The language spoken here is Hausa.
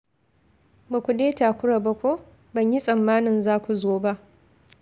Ba ku dai takura ba ko? Ban yi tsammanin za ku zo ba.